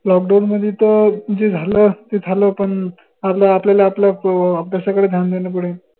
lockdown मदी त जे झालं ते झालं पन आता आपल्यला आपल्या अभ्यासाकडे घ्यान देन पडेन